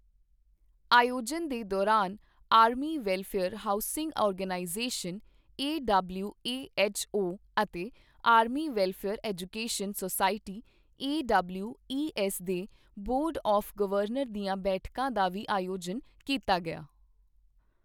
ਆਯੋਜਨ ਦੇ ਦੌਰਾਨ Army Welfare Housing Organisation AWHO ਅਤੇ Army Welfare Education Society AWES ਦੇ ਬੋਰਡ ਆਵ੍ ਗਵਰਨਰ ਦੀਆਂ ਬੈਠਕਾਂ ਦਾ ਵੀ ਆਯੋਜਨ ਕੀਤਾ ਗਿਆ।